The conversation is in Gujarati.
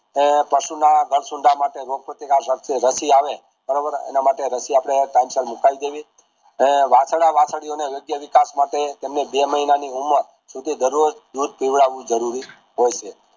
આ પશુના વર્ગ સુધાર માટે રોક પ્રતિકાર શક્તિ રાઠી આવે બરોબર એ માટે રાશિ આપડે સમય સર મૂકાવી દેવી એ વાંસદા વાસળીયોને વિકાસ માટે તેમને બે મહિના ની ઉમર સુધી દરરોજ દૂધ પીવડાવ્યું જરૂરી હોય છે